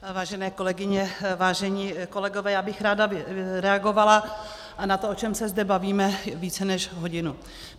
Vážené kolegyně, vážení kolegové, já bych ráda reagovala na to, o čem se zde bavíme více než hodinu.